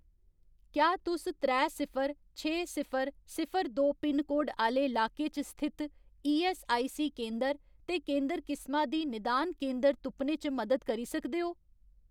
क्या तुस त्रै सिफर छे सिफर सिफर दो पिनकोड आह्‌ले लाके च स्थित ईऐस्सआईसी केंदर ते केंदर किसमा दी निदान केंदर तुप्पने च मदद करी सकदे ओ ?